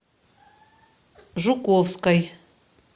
жуковской